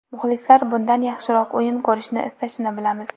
Muxlislar bundan yaxshiroq o‘yin ko‘rishni istashini bilamiz.